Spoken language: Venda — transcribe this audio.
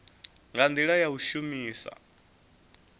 nga ndila ya u shumisa